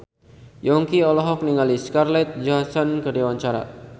Yongki olohok ningali Scarlett Johansson keur diwawancara